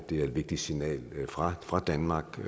det er et vigtigt signal fra fra danmarks